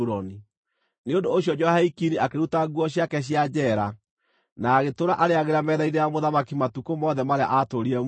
Nĩ ũndũ ũcio Jehoiakini akĩruta nguo ciake cia njeera, na agĩtũũra arĩĩagĩra metha-inĩ ya mũthamaki matukũ mothe marĩa aatũũrire muoyo.